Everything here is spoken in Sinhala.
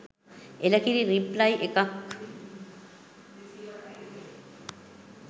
එළකිරි රිප්ලයි එකක්